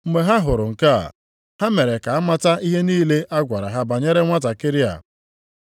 Mgbe ha hụrụ nke a, ha mere ka a mata ihe niile a gwara ha banyere nwantakịrị a.